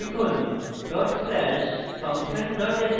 লিখুন dot slash function dot sh